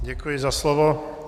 Děkuji za slovo.